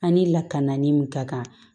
An ni lakananin min ka kan